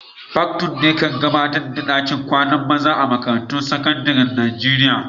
Patron'ne kan gabatar da dakin kwanan maza a'makarantun sekandaren Nijeriya.